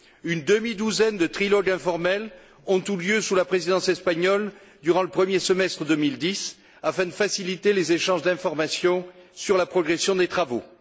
Une demi douzaine de trilogues informels ont eu lieu sous la Présidence espagnole durant le premier semestre 2010 afin de faciliter les échanges d'informations sur la progression des travaux.